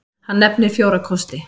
Hann nefnir fjóra kosti.